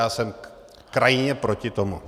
Já jsem krajně proti tomu.